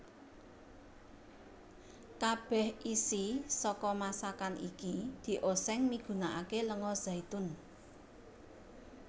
Kabèh isi saka masakan iki diosèng migunaké lenga zaitun